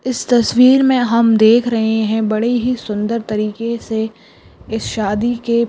इस तस्वीर मे हम देख रहे है बड़े ही सुंदर तरीके से इस सादी के।